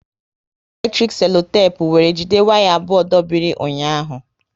E ji eletrik selotepu were jide waya abụọ dobiri ụnyaahụ